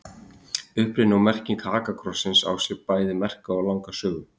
Uppruni og merking Hakakrossinn á sér bæði merka og langa sögu.